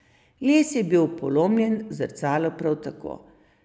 Les je bil polomljen, zrcalo prav tako.